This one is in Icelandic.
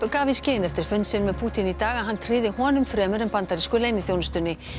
gaf í skyn eftir fund sinn með Pútín í dag að hann tryði honum fremur en bandarísku leyniþjónustunni